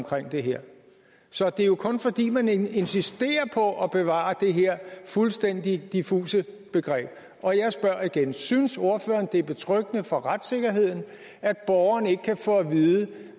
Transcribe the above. for det her så det er jo kun fordi man insisterer på at bevare det her fuldstændig diffuse begreb og jeg spørger igen synes ordføreren det er betryggende for retssikkerheden at borgerne ikke kan få at vide